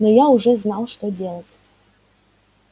но я уже знал что делать